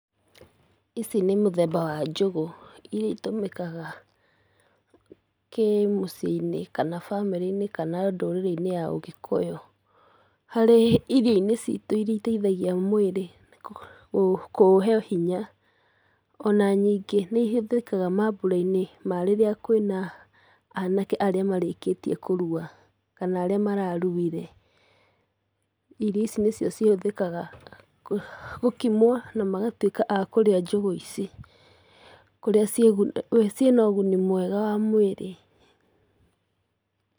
Ici nĩmũthemba wa njũgũ, iria itũmĩkaga kĩmũciinĩ, kana bamĩrĩinĩ, kana ndũrĩrĩ-inĩ ya ũgĩkũyũ. Harĩ irioinĩ citũ iria iteithagia mwĩrĩ, kũuhe hinya, ona ningĩ nĩ ihũthĩkaga mambũrainĩ ma rĩrĩa kwĩna anake arĩa marĩkĩtie kũrua, kana arĩa mararuire, irio ici nĩcio cihũthĩkaga kũ gũkimwo na magatuĩka a kũrĩa njũgũ ici. Kũrĩa ciĩna ũguni mwega wa mwĩrĩ.